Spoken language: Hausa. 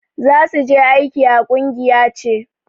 Za su je aiki a kungiyance.